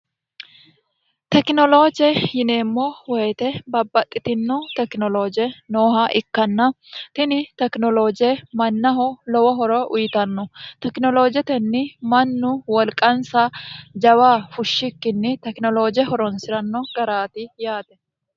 tekinolooje yineemmo woyite babbaxxitinno tekinolooje nooha ikkanna tini tekinolooje mannaho lowo horo uyiitanno tekinoloojetenni mannu wolqansa jawa fushshikkinni tekinolooje horonsi'ranno garaati yaate